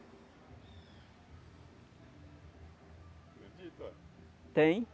Acredito uai. Tem.